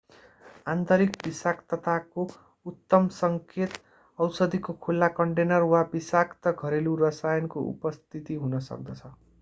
आन्तरिक विषाक्तताको उत्तम सङ्केत औषधीको खुला कन्टेनर वा विषाक्त घरेलु रसायनको उपस्थिति हुन सक्दछ